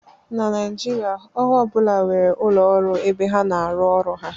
Na Naijiria, ọrụ ọ bụla nwere ụlọ ọrụ ebe ha na-arụ ọrụ ha